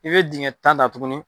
I bɛ dingɛ tan ta tuguni.